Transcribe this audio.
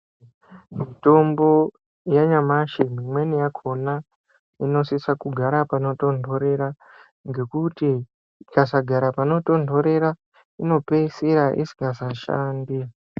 Mitombo ya nyamashi mimweni yakona ino sisa kugara pano tondorera ngekuti ikasa gara pano tondorera ino pesira isingasa shandi.